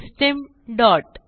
system dot